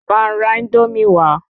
Bá n ra Índómì wa